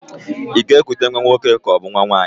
Ị ga-ekute nwa nwoke kaọbụ nwa nwaanyị?